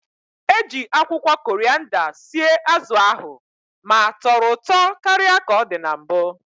Eji akwụkwọ korịanda sie azụ ahụ ma tọrọ ụtọ karịa ka ọ dị na mbụ